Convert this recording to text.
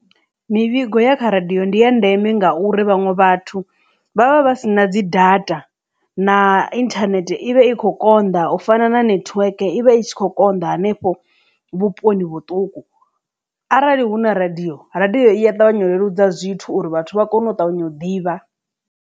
Mivhigo ya kha radio ndi ya ndeme ngauri vhaṅwe vhathu vha vha vha si na dzi data na inthanethe ivha i kho konḓa u fana na network ivha i tshi kho konḓa hanefho vhuponi vhuṱuku arali hu na radio radio iya ṱavhanya u leludza zwithu uri vhathu vha kone u ṱavhanya u ḓivha.